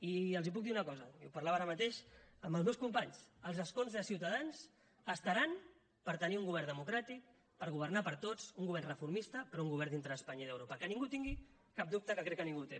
i els puc dir una cosa i ho parlava ara mateix amb els meus companys els escons de ciutadans estaran per tenir un govern democràtic per governar per a tots un govern reformista però un govern dintre d’espanya i d’europa que ningú en tingui cap dubte que crec que ningú en té